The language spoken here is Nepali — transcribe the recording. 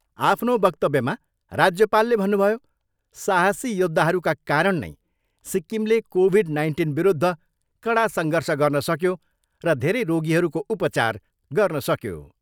आफ्नो वक्तव्यमा राज्यपालले भन्नुभयो, साहसी योद्धाहरूका कारण नै सिक्किमले कोभिड नाइन्टिनविरुद्ध कडा सङ्घर्ष गर्न सक्यो र धेरै रोगीहरूको उपचार गर्न सक्यो।